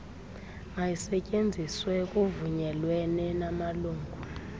mayisetyenziswe kuvunyelwene namalungu